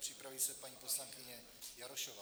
Připraví se paní poslankyně Jarošová.